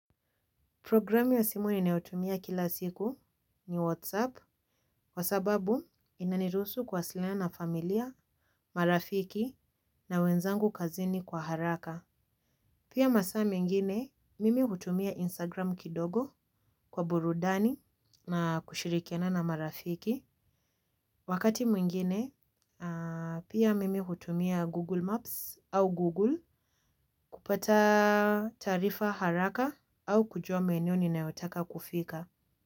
Programu ya simu ninayotumia kila siku ni Whatsapp. Kwa sababu inanirusu kuwasiliana na familia, marafiki na wenzangu kazini kwa haraka. Pia masaa mingine mimi hutumia Instagram kidogo kwa burudani na kushirikiana na marafiki. Wakati mwingine pia mimi hutumia Google Maps au Google Kupata taarifa haraka au kujua maeneo ninayotaka kufika.